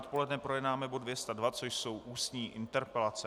Odpoledne projednáme bod 202, což jsou ústní interpelace.